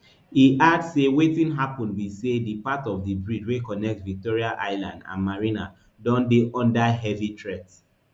e add say wetin happun be say di part of di bridge wey connect victoria island and marina don dey under heavy threat